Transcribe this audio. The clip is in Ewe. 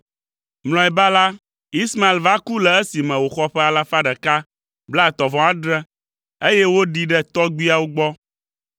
Mlɔeba la, Ismael va ku le esime wòxɔ ƒe alafa ɖeka blaetɔ̃-vɔ-adre, eye woɖii ɖe tɔgbuiawo gbɔ.